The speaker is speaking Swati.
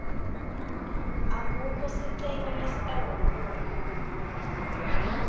akukho sicelo lesitawubukwa